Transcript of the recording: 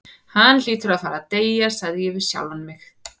Hann hlýtur að fara að deyja, sagði ég við sjálfan mig.